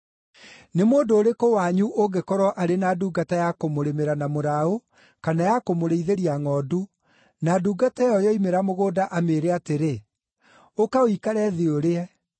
“Nĩ mũndũ ũrĩkũ wanyu ũngĩkorwo arĩ na ndungata ya kũmũrĩmĩra na mũraũ kana ya kũmũrĩithĩria ngʼondu, na ndungata ĩyo yoimĩra mũgũnda amĩĩre atĩrĩ, ‘Ũka ũikare thĩ ũrĩe?’